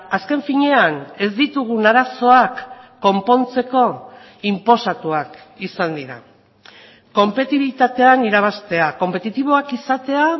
azken finean ez ditugun arazoak konpontzeko inposatuak izan dira konpetibitatean irabaztea konpetitiboak izatea